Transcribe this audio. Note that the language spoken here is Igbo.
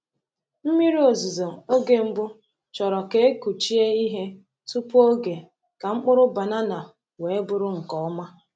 Mmiri ozuzo oge mbụ chọrọ ka e kụchie ihe tupu oge ka mkpụrụ banana wee bụrụ nke ọma.